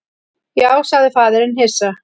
Já, sagði faðirinn hissa.